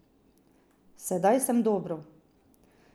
Sedaj sem dobro.